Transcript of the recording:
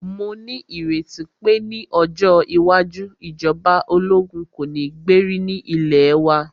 Mó ní ìrètí pé ní ọjọ́ iwájú, ìjọba ológun kò ní gbé rí ní ilẹ̀ wa.